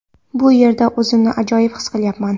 Bu yerda o‘zimni ajoyib his qilyapman.